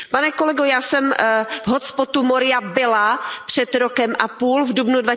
Pane kolego, já jsem v hotspotu Moria byla před rokem a půl, v dubnu